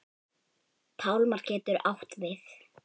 Pálmar getur átt við